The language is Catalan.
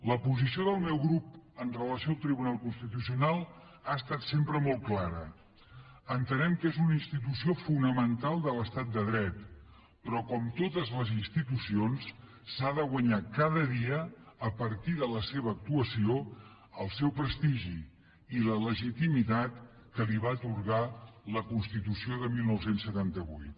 la posició del meu grup amb relació al tribunal constitucional ha estat sempre molt clara entenem que és una institució fonamental de l’estat de dret però com totes les institucions s’ha de guanyar cada dia a partir de la seva actuació el seu prestigi i la legitimitat que li va atorgar la constitució de dinou setanta vuit